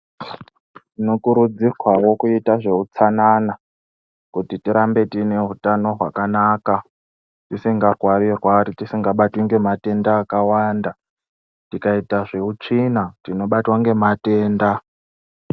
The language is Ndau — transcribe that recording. Tinokurudzirwawo kuita zveutsanana kuti tirambe tiine hutano hwakanaka. Tisingarwari rwari ,tisingabatwi ngematenda akawanda .Tikaita zveutsvina tinobatwe ngematenda.